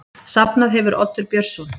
Safnað hefur Oddur Björnsson.